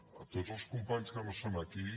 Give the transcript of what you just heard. a tots els companys que no són aquí